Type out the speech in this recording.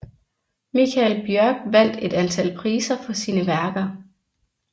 Michael Bjørk vandt et antal priser for sine værker